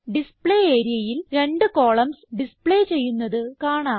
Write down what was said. display areaയിൽ രണ്ട് columns display ചെയ്യുന്നത് കാണാം